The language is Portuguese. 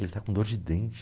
Ele está com dor de dente.